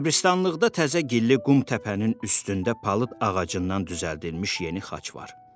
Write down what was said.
Qəbiristanlıqda təzə gilli qum təpənin üstündə palıd ağacından düzəldilmiş yeni xaç var.